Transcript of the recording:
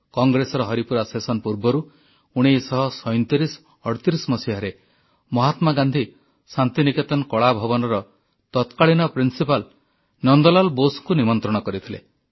Congress Haripura session ପୂର୍ବରୁ 193738ରେ ମହାତ୍ମା ଗାନ୍ଧୀ ଶାନ୍ତି ନିକେତନ କଳା ଭବନର ତତ୍କାଳୀନ ପ୍ରିନ୍ସିପାଲ୍ ନନ୍ଦ ଲାଲ୍ ବୋଷଙ୍କୁ ନିମନ୍ତ୍ରଣ କରିଥିଲେ